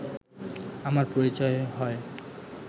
আমার পরিচয় হয়